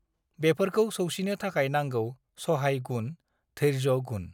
बेफोरखौ सौसिनो थाखाय नांगौ सहाय गुण धैर्यगुण